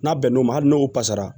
N'a bɛn n'o ma hali n'o fasara